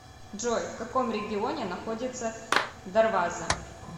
джой в каком регионе находится дарваза